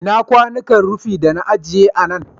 Ina kwanuka rufi da na agiye a nan?